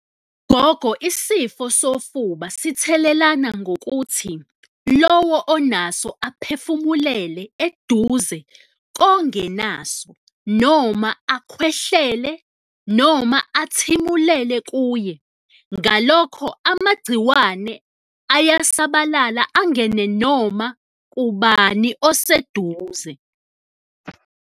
Gogo, isifo sofuba sithelelana ngokuthi lowo onaso aphefumulele eduze kongenaso noma akhwehlele noma athimulele kuye, ngalokho amagciwane ayasabalala angene noma kubani oseduze.